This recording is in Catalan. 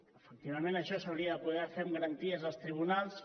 efectivament això s’hauria de poder fer amb garanties als tribunals